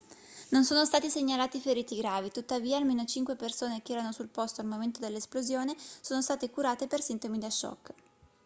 non sono stati segnalati feriti gravi tuttavia almeno cinque persone che erano sul posto al momento dell'esplosione sono state curate per sintomi da shock